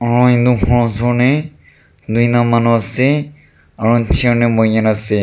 aru edu khor osor tae tuita manu ase aro chair tae boikaena ase.